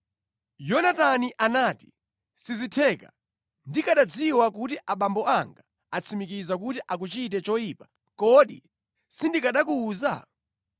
Yonatani anati, “Sizitheka! Ndikanadziwa kuti abambo anga atsimikiza kuti akuchite choyipa, kodi sindikanakuwuza?”